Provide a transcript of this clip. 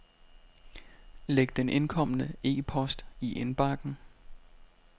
Læg den indkomne e-post i indbakken.